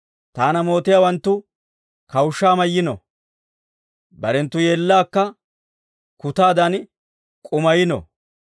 Taana mootiyaawanttu kawushshaa mayno; barenttu yeellaakka kutaadan k'umayino.